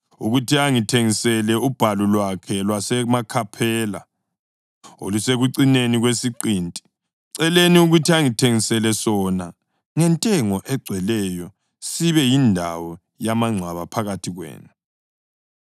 ukuthi angithengisele ubhalu Lwakhe lwaseMakhaphela olusekucineni kwesiqinti. Mceleni ukuthi angithengisele sona ngentengo egcweleyo sibe yindawo yamangcwaba phakathi kwenu.”